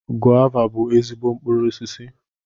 Gova bú ezigbo mkpụrụ osisi